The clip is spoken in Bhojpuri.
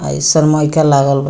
आ ई सनमाईका लागल बा।